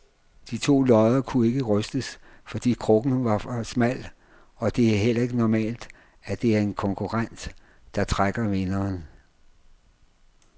De to lodder kunne ikke rystes, fordi krukken var for smal, og det er heller ikke normalt, at det er en konkurrent, der trækker vinderen.